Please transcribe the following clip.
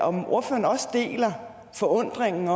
om ordføreren også deler forundringen